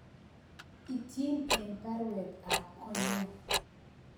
Ityin en baruet ab konyun